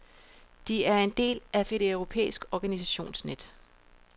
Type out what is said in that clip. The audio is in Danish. De er en del af et europæiske organisationsnet.